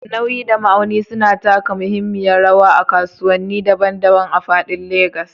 Nauyi da ma'auni suna taka muhimmiyar rawa a kasuwanni daban-daban a faɗin Legas.